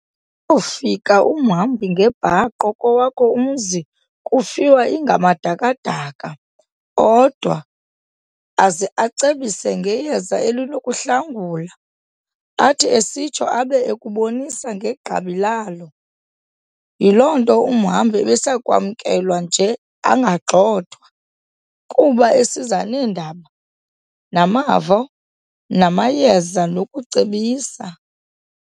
Koofika umhambi ngebhaqo kowakho umzi kufiwa ingamadaka-daka odwa, aze acebise ngeyeza elinokuhlangula, athi esitsho abe ekubonisa negqabi lalo. Yiloo nto umhambi ebesakwamkelwa nje angagxothwa, kuba esiza neendaba, namavo, namayeza nokucebisa.